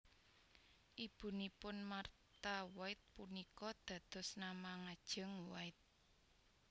Ibunipun Martha White punika dados nama ngajeng White